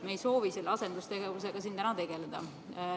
Me ei soovi selle asendustegevusega siin täna tegeleda.